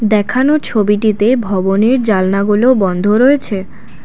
দেখানো ছবিটিতে ভবনের জানলাগুলো বন্ধ রয়েছে ।